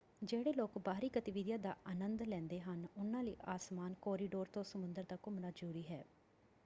ਜਿਹੜੇ ਲੋਕ ਬਾਹਰੀ ਗਤੀਵਿਧੀਆਂ ਦਾ ਆਨੰਦ ਲੈਂਦੇ ਹਨ ਉਹਨਾਂ ਲਈ ਆਸਮਾਨ ਕੋਰੀਡੋਰ ਤੋਂ ਸਮੁੰਦਰ ਤੱਕ ਘੁਮਣਾ ਜ਼ਰੂਰੀ ਹੈ।